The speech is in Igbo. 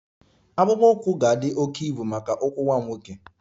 Akpụkpọ ụkwụ ga-adị oke ibu maka ụkwụ nwa m nwoke